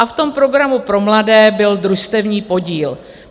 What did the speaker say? A v tom programu pro mladé byl družstevní podíl.